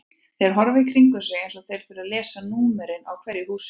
Þeir horfa í kringum sig eins og þeir þurfi að lesa númerin á hverju húsi.